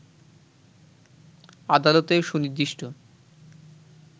আদালতে সুনির্দিষ্ট